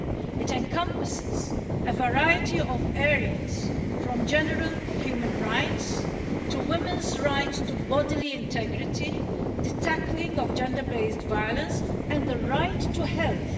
It encompasses a variety of areas, from general human rights to women's right to bodily integrity, the tackling of gender based violence and the right to health.